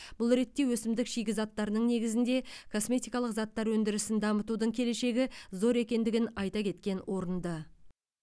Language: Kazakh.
бұл ретте өсімдік шикізаттарының негізінде косметикалық заттар өндірісін дамытудың келешегі зор екендігін айта кеткен орынды